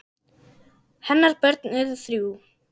Hennar börn eru þrjú.